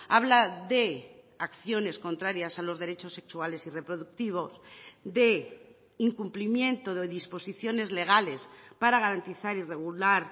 habla de acciones contrarias a los derechos sexuales y reproductivos de incumplimiento de disposiciones legales para garantizar y regular